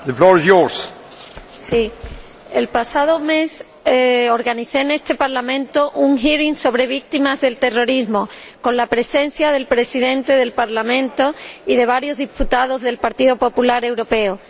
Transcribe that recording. Señor Presidente, el pasado mes organicé en este Parlamento una audiencia sobre víctimas del terrorismo con la presencia del Presidente del Parlamento y de varios diputados del Partido Popular Europeo.